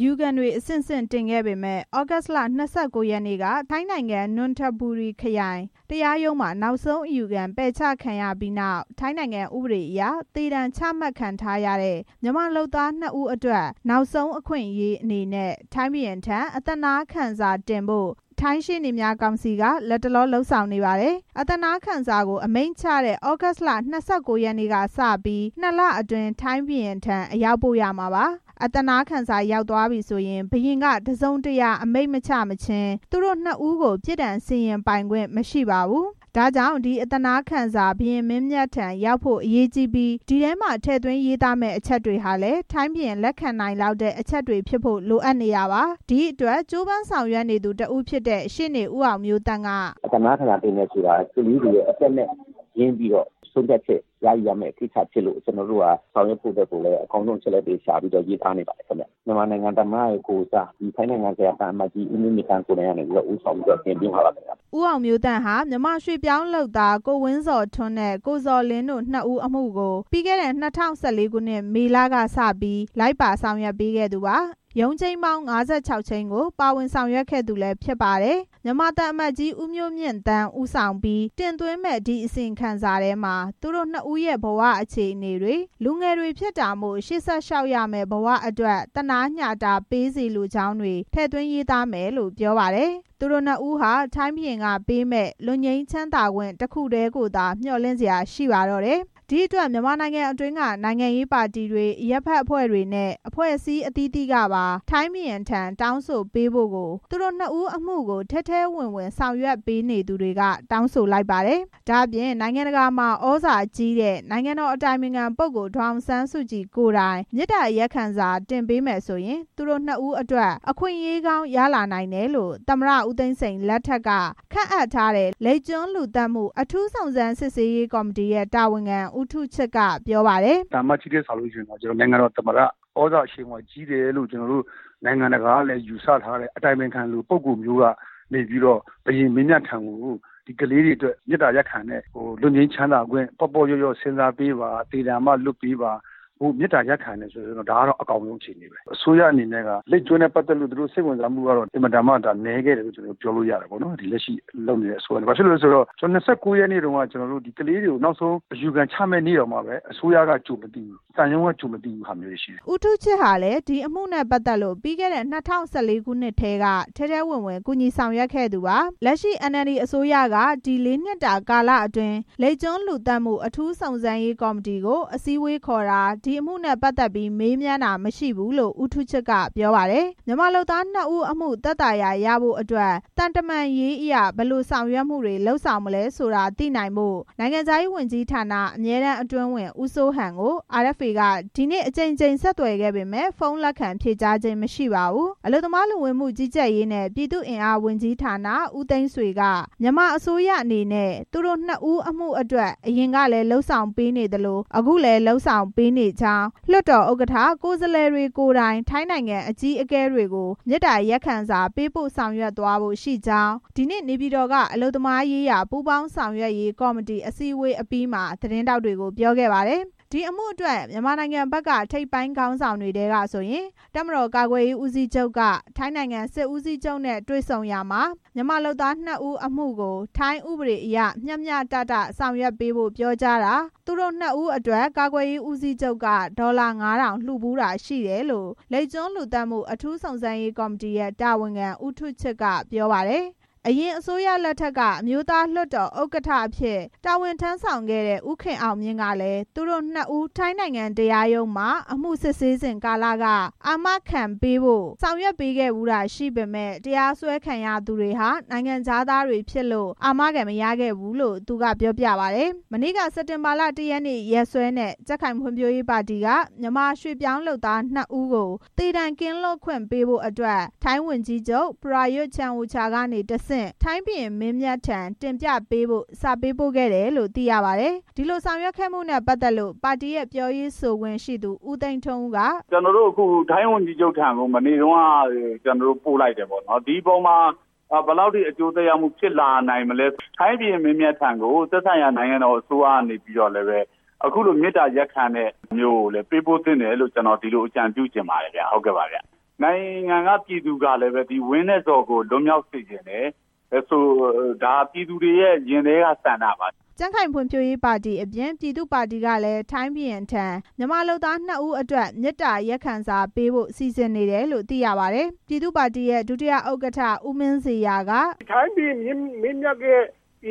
ယူခံတွေ အဆင့်ဆင့်တင်ခဲ့ပေမယ့် သြဂုတ်လ ၂၉ ရက်နေ့က ထိုင်းနိုင်ငံ၊ နွန်ထဘူရီခရိုင် တရားရုံးမှာ နောက်ဆုံး အယူခံ ပယ်ချခံရပြီးနောက် ထိုင်းနိုင်ငံဥပဒေအရ သေဒဏ်ချမှတ်ခံထားရတဲ့ မြန်မာလုပ်သား နှစ်ဦးအတွက် နောက်ဆုံးအခွင့်အရေးအနေနဲ့ ထိုင်းဘုရင်ထံ အသနားခံစာတင်ဖို့ ထိုင်းရှေ့နေများ ကောင်စီက လတ်တလော လုပ်ဆောင်နေပါတယ်။ အသနားခံစာကို အမိန့်ချတဲ့ သြဂုတ်လ ၂၉ ရက်နေ့ကနေစပြီး နှစ်လအတွင်း ထိုင်းဘုရင်ထံ အရောက်ပို့ရမှာပါ။ အသနားခံစာရောက်သွားပြီဆိုရင် ဘုရင်က အမိန့်တစ်စုံတရာ မချမှတ်မခြင်း သူတို့နှစ်ဦးကို ပြစ်ဒဏ်စီရင်ပိုင်ခွင့် မရှိပါဘူး။ ဒါကြောင့် ဒီအသနားခံစာ ဘုရင်မင်းမြတ်ထံရောက်ဖို့ အရေးကြီးပြီး ဒီထဲမှာ ထည့်သွင်းရေးသားမယ့် အချက်တွေဟာ လည်း ထိုင်းဘုရင် လက်ခံနိုင်လောက်တဲ့ အချက်တွေဖြစ်ဖို့ လိုအပ်နေတာပါ။ ဒီအတွက်ကြိုးပမ်းဆောင်ရွက်နေသူတစ်ဦးဖြစ်တဲ့ ရှေ့နေ ဦးအောင်မျိုးသန့်က "အသနားခံစာ တင်မယ်ဆိုတာဟာ ကလေးတွေရဲ့ အသက်နဲ့ ရင်းပြီး ဆုံးဖြတ်ချက် ရယူရမယ့် ကိစ္စဖြစ်လို့ ကျနော်တို့ဟာ အကောင်းဆုံး အချက်အလက်တွေရှာပြီး ရေးသားနေပါတယ်ခင်ဗျ။ မြန်မာနိုင်ငံ သမ္မတရဲ့ ကိုယ်စား ထိုင်းနိုင်ငံဆိုင်ရာ မြန်မာသံအမတ်ကြီး ဦးမျိုးမြင့်သန်း ကိုယ်တိုင် ဦးဆောင်တင်သွင်းမှာပါခင်ဗျ" ဦးအောင်မျိုးသန့်ဟာ မြန်မာရွှေ့ပြောင်းလုပ်သား ကိုဝင်းဇော်ထွန်းနဲ့ ကိုဇော်လင်းတို့ နှစ်ဦးအမှုကို ပြီးခဲ့တဲ့ ၂၀၁၄ ခုနှစ် မေလကစပြီး လိုက်ပါဆောင်ရွက်ပေးခဲ့သူပါ။ ရုံးချိန်းပေါင်း ၅၆ ချိန်းကို ပါဝင်ဆောင်ရွက်ခဲ့သူလည်း ဖြစ်ပါတယ်။ မြန်မာသံအမတ်ကြီး ဦးမျိုးမြင့်သန်း ဦးဆောင်ပြီး တင်သွင်းမယ့် ဒီအသနားခံစာထဲမှာ သူတို့နှစ်ဦးရဲ့ ဘဝ အခြေအနေတွေ၊ လူငယ်တွေဖြစ်တာမို့ ရှေ့ဆက်ရမယ့် ဘဝအတွက် သနားညှာတာပေးစေလိုကြောင်း ထည့်သွင်းရေးသားမယ်လို့ ပြောပါတယ်။ သူတို့နှစ်ဦးဟာ ထိုင်းဘုရင်ကပေးမယ့် လွတ်ငြိမ်းချမ်းသာခွင့် တစ်ခုတည်းကိုသာ မျှော်လင့်စရာ ရှိတော့တာပါ။ ဒီအတွက် မြန်မာနိုင်ငံအတွင်းက နိုင်ငံရေးပါတီတွေ၊ အရပ်ဖက်အဖွဲ့တွေနဲ့ အဖွဲ့အစည်းအသီးသီးကပါ ထိုင်း ဘုရင်ထံ တောင်းဆိုပေးဖို့ကို သူတို့နှစ်ဦး အမှုကို ထဲထဲဝင်ဝင် ဆောင်ရွက်ပေးနေသူတွေက တောင်းဆိုကြပါတယ်။ ဒါ့အပြင် နိုင်ငံတကာမှာ သြဇာကြီးတဲ့ နိုင်ငံတော် အတိုင်ပင်ခံပုဂ္ဂိုလ် ဒေါ်အောင်ဆန်းစုကြည် ကိုယ်တိုင် မေတ္တာ ရပ်ခံစာ တင်ပေးမယ်ဆိုရင် သူတို့နှစ်ဦးအတွက် အခွင့်အရေးကောင်း ရလာနိုင်တယ်လို့ ဦးသိန်းစိန် အစိုးရ လက်ထက်က ခန့်အပ်ထားတဲ့ လိပ်ကျွန်းလူသတ်မှု အထူးစုံစမ်းရေးကော်မတီရဲ့ တာဝန်ခံ ဦးထူးချစ်က ပြောပါတယ်။ "သံအမတ်ကြီးထက်စာလို့ ရှိရင်တော့ နိုင်ငံတော် သမ္မတ သြဇာအရှိန်အဝါရှိတယ်လို့ နိုင်ငံတကာကလည်း ယူဆထားတဲ့ အတိုင်ပင်ခံ ပုဂ္ဂိုလ်လိုမျိုး ကနေ ဘုရင်မင်းမြတ်ထံကို ဒီကလေးတွေအတွက် မေတ္တာရပ်ခံတဲ့ လွတ်ငြိမ်းချမ်းသာခွင့် ပေါ့ပေါ့လျော့လျော့ စဉ်းစားပေးပါ။ သေဒဏ်က လွှတ်ပေးပါလို့ မေတ္တာရပ်ခံရင်တော့ ဒါကတော့ အကောင်းဆုံး အခြေအနေပဲ။ အစိုးရအနေနဲ့က လိပ်ကျွန်းနဲ့ပက်သတ်ပြီး သူတို့စိတ်ဝင်စားမှုက အင်မတန်မှ နည်းခဲ့တယ်လို့ ပြောလို့ရတယ်။ ဒီလက်ရှိအစိုးရအနေနဲ့ ဘာဖြစ်လို့လည်းဆိုတော့ ဒီ ၂၉ ရက်နေ့တုန်းက ကလေးတွေကို နောက်ဆုံးအယူခံ ချမယ့်နေတောင်မှ အစိုးရက ကြိုမသိဘူး။ သံရုံးက ကြိုမသိဘူး" ဦးထူးချစ်ဟာလည်း ဒီအမှုနဲ့ပတ်သက်လို့ ပြီးခဲ့တဲ့ ၂၀၁၄ ခုနှစ် ကတည်းက ထဲထဲဝင်ဝင် ကူညီဆောင်ရွက်ခဲ့သူပါ။ လက်ရှိ NLD အစိုးရက ဒီ လေးနှစ်တာကာလအတွင်း လိပ်ကျွန်း လူသတ်မှု အထူးစုံစမ်းရေးကော်မတီကို အစည်းအဝေးခေါ်တာ၊ ဒီအမှုကို မေးမြန်းတာ မရှိဘူးလို့ ဦးထူးချစ်က ပြောပါတယ်။ မြန်မာလုပ်သားနှစ်ဦး အမှု သက်သာရာ ရဖို့အတွက် သံတမန်ရေးအရ ဘယ်လိုဆောင်ရွက်မှုတွေ လုပ်ဆောင်မလဲ ဆိုတာ သိနိုင်ဖို့ နိုင်ငံခြားရေးဝန်ကြီးဌာန အမြဲတမ်းအတွင်းဝန် ဦးစိုးဟန်ကို RFA က ဒီကနေ့ အကြိမ်ကြိမ် ဆက်သွယ်ပေမယ့် ဖုန်းလက်ခံဖြေကြားခြင်း မရှိပါဘူး။ အလုပ်သမားလူဝန်မှုကြီးကြပ်ရေးနဲ့ ပြည်သူ့အင်အားဝန်ကြီးဌာန ဦးသိန်းဆွေက မြန်မာအစိုးရအနေနဲ့ သူတို့နှစ်ဦး အမှုအတွက် အရင်ကလည်း လုပ်ဆောင်ပေးနေသလို အခုလည်း လုပ်ဆောင်ပေးနေကြောင်း၊ လွှတ်တော်ဥက္ကဋ္ဌ၊ ကိုယ်စားလှယ်တွေ ကိုယ်တိုင် ထိုင်းနိုင်ငံ အကြီးအကဲတွေကို မေတ္တာရပ်ခံစာ ပေးပို့ဆောင်ရွက်သွားဖို့ရှိကြောင်း ဒီနေ့ နေပြည်တော်က အလုပ်သမားရေးရာ ပူးပေါင်းဆောင်ရွက်ရေး ကော်မတီ အစည်းအဝေးအပြီးမှာ သတင်းထောက်တွေကို ပြောခဲ့ပါတယ်။ ဒီအမှုအတွက် မြန်မာနိုင်ငံဘက်က ထိပ်ပိုင်းခေါင်းဆောင်တွေထဲကဆိုရင် တပ်မတော် ကာကွယ်ရေး ဦးစီးချုပ်က ထိုင်းနိုင်ငံ စစ်ဦးစီးချုပ်နဲ့ တွေ့ဆုံရာမှာ မြန်မာလုပ်သား နှစ်ဦးအမှုကို ထိုင်းဥပဒေအရ မျှမျှတတ ဆောင်ရွက်ပေးဖို့ ပြောကြားတာ၊ သူတို့နှစ်ဦးအတွက် ဒေါ်လာ ၅,၀၀၀ လှူဖူးတာ ရှိတယ်လို့ လိပ်ကျွန်း လူသတ်မှု အထူးစုံစမ်းရေး ကော်မတီရဲ့ တာဝန်ခံ ဦးထူးချစ်က ပြောပါတယ်။ အရင်အစိုးရလက်ထက်က အမျိုးသားလွှတ်တော် ဥက္ကဋ္ဌအဖြစ် တာဝန်ထမ်းဆောင်ခဲ့တဲ့ ဦးခင်အောင်မြင့်ကလည်း သူတို့နှစ်ဦး ထိုင်းနိုင်ငံတရားရုံးမှာ အမှုစစ်ဆေးစဉ်ကာလက အာမခံပေးဖို့ ဆောင်ရွက်ခဲ့ဖူးပေမယ့် တရားစွဲခံရသူတွေ ဟာ နိုင်ငံခြားသားတွေဖြစ်လို့ အာမခံမရခဲ့ဘူးလို့လည်း သူက ပြောပြပါတယ်။ မနေ့က စက်တင်ဘာ (၁) ရက်နေ့ ရက်စွဲနဲ့ ကြံ့ခိုင်ရေးပါတီက မြန်မာရွှေ့ပြောင်းလုပ်သားနှစ်ဦးကို သေဒဏ် ကင်းလွတ်ခွင့်ပေးဖို့အတွက် ထိုင်းဝန်ကြီးချုပ် ပရာယွတ်ချန်အိုချာကနေ တဆင့် ထိုင်းဘုရင် မင်းမြတ်ထံ တင်ပြပေးဖို့ စာပေးပို့ခဲ့တယ်လို့ သိရပါတယ်။ ဒီလိုဆောင်ရွက်ခဲ့မှုနဲ့ ပတ်သက်လို့ ပါတီရဲ့ ပြောရေးဆိုခွင့်ရှိသူ ဦးသိန်းထွန်းဦးက "ကျနော်တို့ ထိုင်းဝန်ကြီးချုပ်ထံကို မနေ့တုန်းက ပို့လိုက်တယ်ပေါ့။ ဒီအပေါ်မှာ ဘယ်လောက်ထိ အကျိုး သက်ရောက်မှု ဖြစ်လာနိုင်မလဲ။ ထိုင်းဘုရင်မင်းမြတ်ထံကို သက်ဆိုင်ရာ နိုင်ငံတော် အစိုးရကနေပြီးတော့လည်း ဒီလိုမေတ္တာရပ်ခံချက်မျိုးကိုလည်း ပေးပို့သင့်တယ်လို့ ကျနော် အကြံပြုလိုပါတယ်ခင်ဗျ။ နိုင်ငံက ပြည်သူကလည်း ဝင်းနဲ့ ဇော်ကို လွတ်မြောက်စေချင်တယ်။ ဒါက ပြည်သူတွေရဲ့ ရင်ထဲက ဆန္ဒပါ" ကြံ့ခိုင်ရေးပါတီ အပြင် ပြည်သူ့ပါတီကလည်း ထိုင်းဘုရင်ထံ မြန်မာလုပ်သား နှစ်ဦးအတွက် မေတ္တာရပ်ခံစာပေးဖို့ စီစဉ်နေတယ်လို့ သိရပါတယ်။ ပြည်သူ့ပါတီရဲ့ ဒုတိယဥက္ကဋ္ဌ ဦးမင်းဇေယျာက "ထိုင်းဘုရင်မင်းမြတ်ရဲ့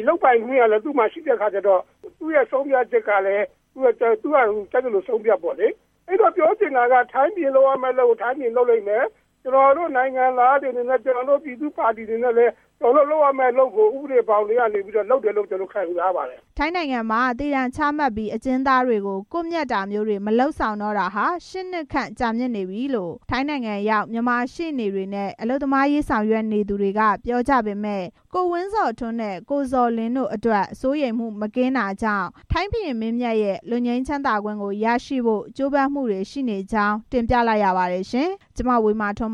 လုပ်ပိုင်ခွင့်ကလည်း သူမှာရှိတဲ့အခါကျတော့ သူ့ရဲ့ဆုံးဖြတ်ချက်ကို သူ့ဘာသူကြိုက်သလို ဆုံးဖြတ်ပေါ့လေ။ ပြောချင်တာက ထိုင်းဘုရင်လုပ်ရမယ့် အလုပ်ကို သူ့ဘာသူလုပ်လိမ့်မယ်။ ကျနော်တို့ နိုင်ငံသားတွေအနေနဲ့ ပြည်သူ့ပါတီအနေနဲ့လည်း ကျနော်တို့ လုပ်ရမယ့် အလုပ်ကို ဥပဒေဘောင်ထဲကနေ လုပ်တယ်လို့ ခံယူထားပါတယ်" ထိုင်းနိုင်ငံမှာ သေဒဏ်ချမှတ်ပြီး အကျဉ်းသားတွေကို ကွပ်မျက်တာမျိုးတွေ မလုပ်ဆောင်တော့တာဟာ ရှစ်နှစ်ခန့် ကြာမြင့်ပြီလို့ ထိုင်းနိုင်ငံရောက် မြန်မာရှေ့နေတွေနဲ့ အလုပ်သမားရေးဆောင်ရွက်နေသူတွေက ပြောကြပေမယ့် ကိုဝင်းဇော်ထွန်းနဲ့ ကိုဇော်လင်းတို့အတွက် စိုးရိမ်မှု မကင်းတာကြောင့် ထိုင်းဘုရင်မင်းမြတ်ရဲ့ လွတ်ငြိမ်းသက်သာခွင့် ကို ရရှိဖို့ ကြိုးပမ်းသူတွေ ရှိနေကြောင်း တင်ပြလိုက်ရပါတယ်ရှင်။ (RFA သတင်းထောက် မဝေမာထွန်း